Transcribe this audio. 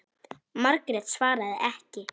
Margrét svaraði ekki.